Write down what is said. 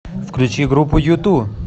включи группу юту